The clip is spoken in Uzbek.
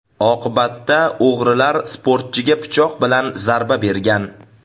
Oqibatda o‘g‘rilar sportchiga pichoq bilan zarba bergan.